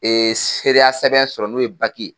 seereya sɛbɛn sɔrɔ n'o ye ye.